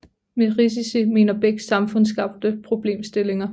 Med risici mener Beck samfundsskabte problemstillinger